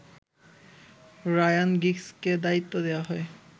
Ryan গিগসকে দায়িত্ব দেয়া হয়